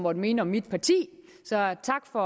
måtte mene om mit parti så tak for